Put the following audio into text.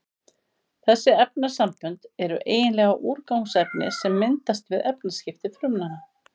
Þessi efnasambönd eru eiginlega úrgangsefni sem myndast við efnaskipti frumnanna.